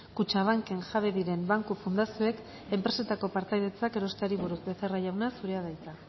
kutxabanken jabe diren banku fundazioek enpresetako partaidetzak erosteari buruz becerra jauna zurea da hitza